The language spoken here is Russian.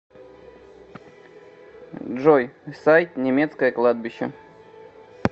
джой сайт немецкое кладбище